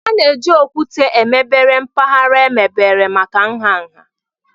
A na-eji okwute emebere mpaghara emebere maka nha nha.